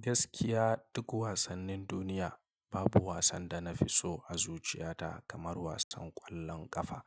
Gaskiya duk wasannin duniya babu wasan da na fi so a zuciyata kamar wasan ƙwallon ƙafa